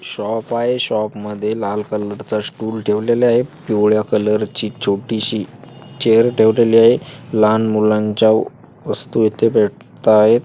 Shop आहे. शॉपमध्ये लाल कलरचा स्टूल ठेवलेल्या आहेत. पिवळ्या कलरची छोटीशी चेयर ठेवलेली आहे. लहान मुलांच्या व वस्तु इथे भेटता आहेत.